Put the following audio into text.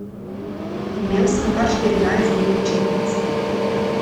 Imel sem kar štirinajst dni počitnic.